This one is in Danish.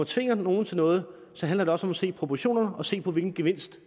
tvinger nogen til noget handler det også se proportionerne og se på hvilken gevinst